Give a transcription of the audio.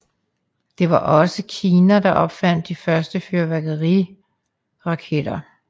Det var også Kina der opfandt de første fyrværkeriraketter